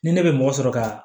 Ni ne bɛ mɔgɔ sɔrɔ ka